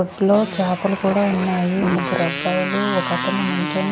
అప్పట్లో చాపలు కూడా ఉన్నాయి ముగ్గురు అబ్బాయిలు ఒక అతను నిల్చొని.